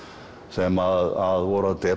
sem voru